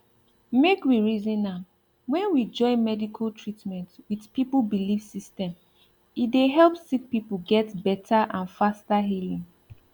make we reason am when we join medical treatment with people belief system e dey help sick people get better and faster healing